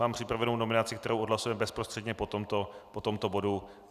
Mám připravenou nominaci, kterou odhlasujeme bezprostředně po tomto bodu.